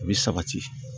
U bɛ sabati